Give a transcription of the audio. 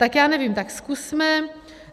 Tak já nevím, tak zkusme.